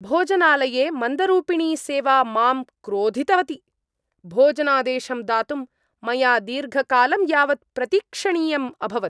भोजनालये मन्दरूपिणी सेवा मां क्रोधितवती। भोजनादेशं दातुं मया दीर्घकालं यावत् प्रतीक्षणीयम् अभवत्।